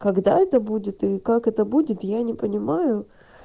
когда это будет и как это будет я не понимаю